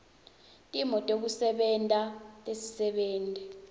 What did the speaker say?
timo tekusebenta tetisebenti